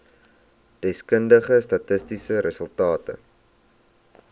deskundige statistiese resultate